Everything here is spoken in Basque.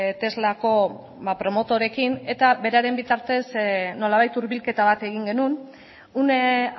teslako promotoreekin eta beraren bitartez nolabait hurbilketa bat egin genuen une